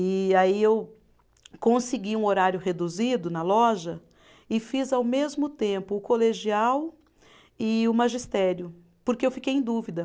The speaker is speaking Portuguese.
E aí eu consegui um horário reduzido na loja e fiz ao mesmo tempo o colegial e o magistério, porque eu fiquei em dúvida.